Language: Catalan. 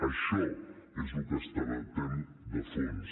això és el que debatem de fons